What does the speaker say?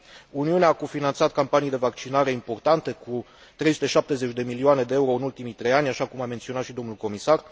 Uniunea a cofinanțat campanii de vaccinare importante, cu 370 de milioane de euro în ultimii trei ani, așa cum a menționat și domnul comisar.